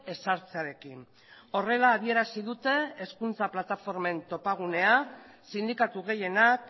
ezartzearekin horrela adierazi dute hezkuntza plataformen topagunea sindikatu gehienak